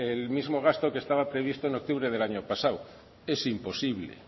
el mismo gasto que estaba previsto en octubre del año pasado es imposible